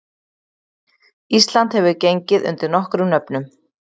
Ísland hefur gengið undir nokkrum nöfnum.